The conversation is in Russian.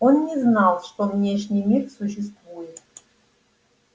он не знал что внешний мир существует